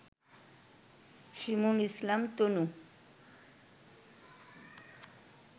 শিমুল Islam তনু